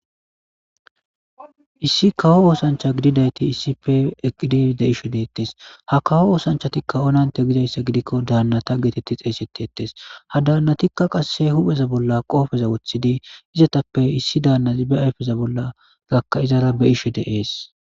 issi kawo oosancha gididayti issipe eqidi de'ishe detees ha kawo oosanchatikka onante gizayssa gidikko daannata geetetti xeeysetetees ha daannatikka qasse hupheza bolla qoopeza woththidi izatappe issi danazzappe ayfeza bolla gakka izara be'ishe deees